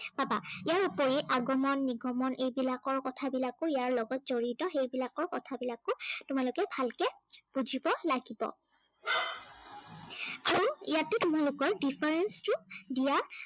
পাবা। ইয়োৰাপৰি আগমন নিগমন এইবিলাকৰ কথাবিলাকো ইয়াৰ লগত জড়িত সেই বিলাকৰ কথা বিলাকো তোমালোকে ভালকে বুজিব লাগিব। আৰু ইয়াতে তোমালোকৰ difference টো দিয়া পাবা।